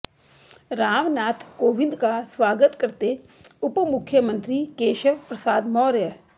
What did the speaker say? रामनाथ कोविंद का स्वागत करते उपमुख्यमंत्री केशव प्रसाद मौर्य